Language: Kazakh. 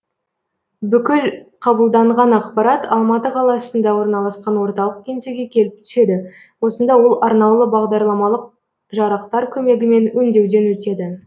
бұкіл қабылданған ақпарат алматы қаласында орналасқан орталық кеңсеге келіп түседі осында ол арнаулы бағдарламалық жарақтар көмегімен өңдеуден өтеді